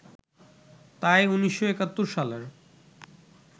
তাই ১৯৭১ সালের